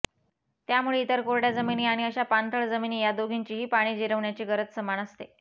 त्यामुळे इतर कोरड्या जमिनी आणि अशा पाणथळ जमिनी ह्या दोघींचीही पाणी जिरवण्याची गरज समान असते